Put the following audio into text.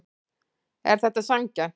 Er þetta sanngjarnt